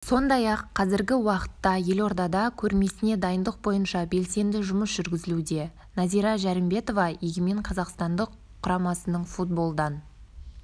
сондай-ақ қазіргі уақытта елордада көрмесіне дайындық бойынша белсенді жұмыс жүргізілуде нәзира жәрімбетова егемен қазақстан құрамасының футболдан